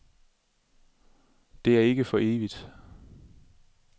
Det er ikke for evigt.